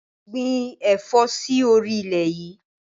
Gbìn ẹ̀fọ́ sì orí ilẹ̀ yìí!